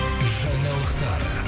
жаңалықтар